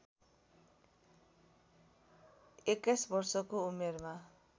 २१ वर्षको उमेरमा